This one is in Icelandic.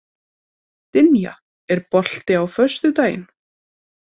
Dynja, er bolti á föstudaginn?